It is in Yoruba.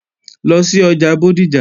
Lọ sí ọjà Bódìjà!